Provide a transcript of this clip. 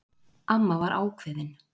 Amma var ákveðin.